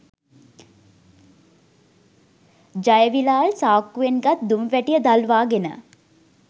ජයවිලාල් සාක්කුවෙන් ගත් දුම් වැටිය දල්වාගෙන